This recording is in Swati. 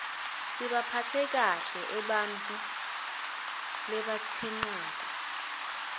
sibaphatse kahle ebarfu rabatsenqako